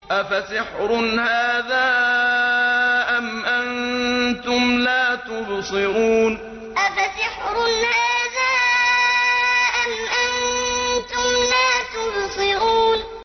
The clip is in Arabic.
أَفَسِحْرٌ هَٰذَا أَمْ أَنتُمْ لَا تُبْصِرُونَ أَفَسِحْرٌ هَٰذَا أَمْ أَنتُمْ لَا تُبْصِرُونَ